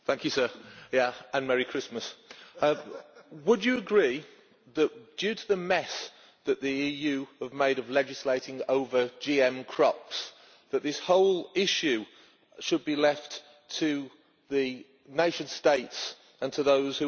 Would you agree that due to the mess that the EU has made of legislating over GM crops, this whole issue should be left to the nation states and to those who understand the land best in their own nation states?